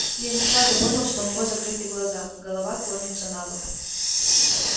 я не сразу понял что у него закрыты глаза голова клонится набок